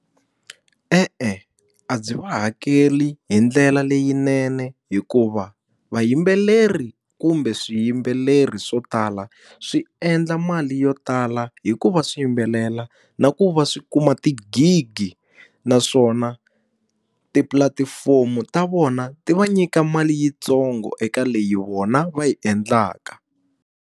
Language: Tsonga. E-e a byi va hakeli hi ndlela leyinene hikuva, vayimbeleri kumbe swiyimbeleri swo tala swi endla mali yo tala hi ku va swiyimbelela na ku va swi kuma tigigi. Naswona tipulatifomo ta vona ti va nyika mali yintsongo eka leyi vona va yi endlaka.